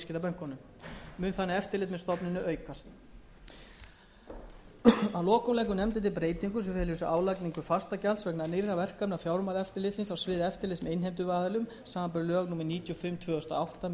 eftirlit með stofnuninni aukast að lokum leggur nefndin til breytingu sem felur í sér álagningu fastagjalds vegna nýrra verkefna fjármálaeftirlitsins á sviði eftirlits með innheimtuaðilum samanber lög númer níutíu og fimm tvö þúsund og átta sem taka gildi nú um áramót breytingartillagan gerir ráð